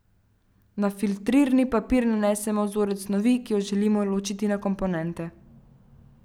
Na filtrirni papir nanesemo vzorec snovi, ki jo želimo ločiti na komponente.